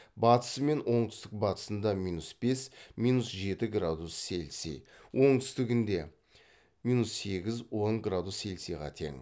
батысы мен оңтүстік батысында минус бес минус жеті градус цельсий оңтүстігінде минус сегіз он градус цельсиға тең